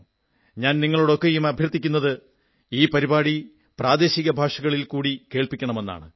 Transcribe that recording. ഞാൻ നിങ്ങളോടൊക്കെയും അഭ്യർഥിക്കുന്നത് ഈ പരിപാടി പ്രാദേശിക ഭാഷകളിൽ കൂടി കേൾക്കണമെന്നാണ്